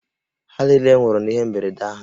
Ha niile nwụrụ n'ihe mberede ahụ